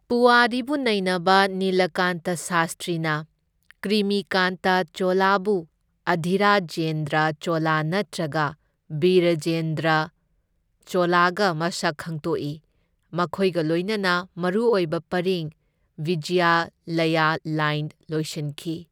ꯄꯨꯋꯥꯔꯤꯕꯨ ꯅꯩꯅꯕ ꯅꯤꯂꯀꯥꯟꯇ ꯁꯥꯁꯇ꯭ꯔꯤꯅ ꯀ꯭ꯔꯤꯃꯤꯀꯥꯟꯇ ꯆꯣꯂꯕꯨ ꯑꯙꯤꯔꯥꯖꯦꯟꯗ꯭ꯔ ꯆꯣꯂ ꯅꯠꯇ꯭ꯔꯒ ꯕꯤꯔꯔꯖꯦꯟꯗ꯭ꯔ ꯆꯣꯂꯒ ꯃꯁꯛ ꯈꯪꯗꯣꯛꯏ, ꯃꯈꯣꯏꯒ ꯂꯣꯏꯅꯅ ꯃꯔꯨꯑꯣꯏꯕ ꯄꯔꯤꯡ ꯚꯤꯖꯌꯂꯌ ꯂꯥꯏꯟ ꯂꯣꯏꯁꯤꯟꯈꯤ꯫